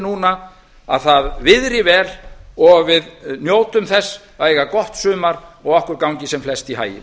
núna að það viðri vel og við njótum þess að eiga gott sumar og okkur gangi sem flest í haginn